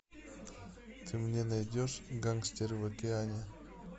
ты мне найдешь гангстер в океане